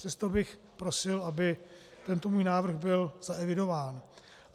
Přesto bych prosil, aby tento můj návrh byl zaevidován.